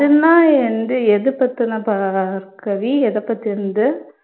எதைப் பத்தினது பார்கவி எதைப் பத்தினது